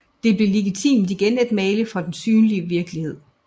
Det blev legitimt igen at male fra den synlige virkelighed